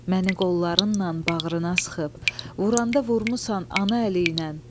Məni qollarınla bağrına sıxıb, vuranda vurmusan ana əliylə.